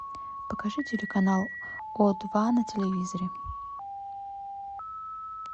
покажи телеканал о два на телевизоре